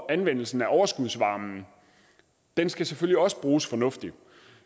anvendelsen af overskudsvarme den skal selvfølgelig også bruges fornuftigt